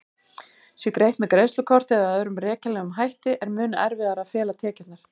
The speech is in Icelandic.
Sé greitt með greiðslukorti eða öðrum rekjanlegum hætti er mun erfiðara að fela tekjurnar.